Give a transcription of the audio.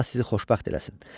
Allah sizi xoşbəxt eləsin.